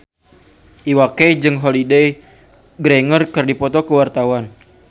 Iwa K jeung Holliday Grainger keur dipoto ku wartawan